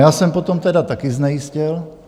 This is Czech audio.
Já jsem potom tedy také znejistěl.